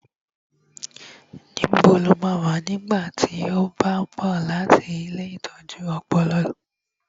Níbo lo máa wà nígbà tí ó bá ń bọ̀ láti ilée ìtọ́jú ọpọlọ?